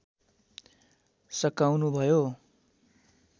सकाउनु भयो